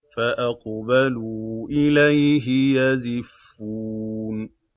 فَأَقْبَلُوا إِلَيْهِ يَزِفُّونَ